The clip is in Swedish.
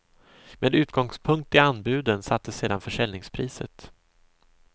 Med utgångspunkt i anbuden sattes sedan försäljningspriset.